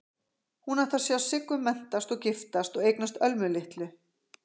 Hún átti að sjá Siggu menntast og giftast og eignast Ölmu litlu.